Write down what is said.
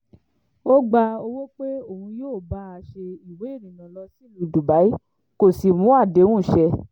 ó gba owó pé òun yóò bá a ṣe ìwé ìrìnnà lọ sílùú dubai kó sì mú àdéhùn ṣẹ